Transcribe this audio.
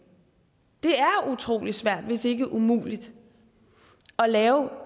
det er utrolig svært hvis ikke umuligt at lave